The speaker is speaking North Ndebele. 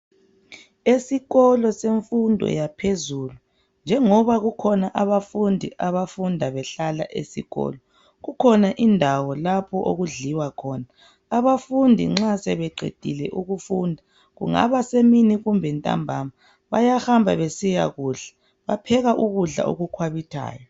Esikolo senfundo yaphezulu, njengoba kukhona abafundi abafunda behlala esikolo . Kukhona indawo lapho okudliwa khona ,abafundi nxa sebeqedile ukufunda kungabasemini kumbe ntambama .Bayahamba besiyakudla ,bapheka ukudla okukhwabithayo.